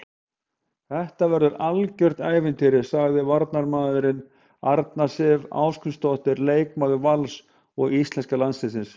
Þetta verður algjört ævintýri, sagði varnarmaðurinn, Arna Sif Ásgrímsdóttir leikmaður Vals og íslenska landsliðsins.